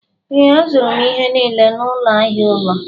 Ee, azụrụ m ihe niile n'ụlọ ahịa ụlọ.